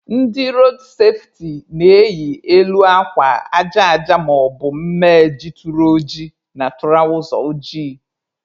Ndị road safeti na-eyi elu akwa aja aja maọbụ mme jituru oji na tụrawza ojii.